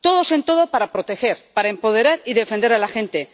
todos en todo para proteger, para empoderar y defender a la gente